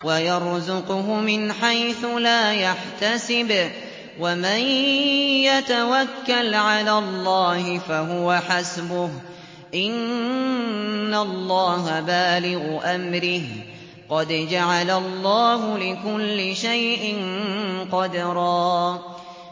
وَيَرْزُقْهُ مِنْ حَيْثُ لَا يَحْتَسِبُ ۚ وَمَن يَتَوَكَّلْ عَلَى اللَّهِ فَهُوَ حَسْبُهُ ۚ إِنَّ اللَّهَ بَالِغُ أَمْرِهِ ۚ قَدْ جَعَلَ اللَّهُ لِكُلِّ شَيْءٍ قَدْرًا